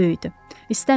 Təhlükə böyüdü.